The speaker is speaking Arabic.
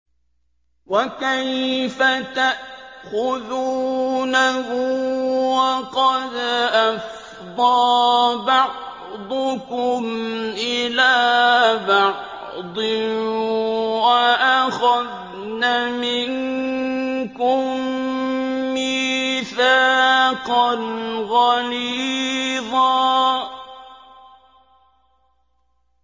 وَكَيْفَ تَأْخُذُونَهُ وَقَدْ أَفْضَىٰ بَعْضُكُمْ إِلَىٰ بَعْضٍ وَأَخَذْنَ مِنكُم مِّيثَاقًا غَلِيظًا